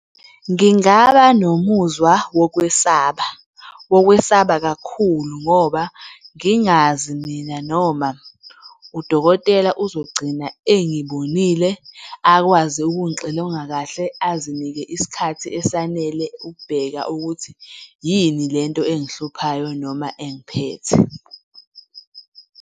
Ngingaba nomuzwa wokwesaba, wokwesaba kakhulu ngoba ngingazi mina noma udokotela uzogcina engibonile akwazi ukungixilonga kahle, azinike isikhathi esanele ukubheka ukuthi yini lento engihluphayo noma engiphethe.